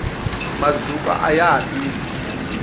mazukwa ayaha tirhi